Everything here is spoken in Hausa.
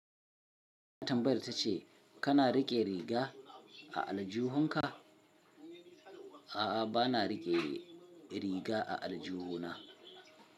Tambayar ta ce kana riƙe riga a aljihunka? A'a, ba na riƙe riga a aljihuna.